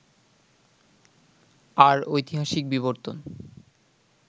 আর ঐতিহাসিক বিবর্তন